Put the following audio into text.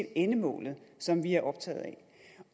endemål som vi er optaget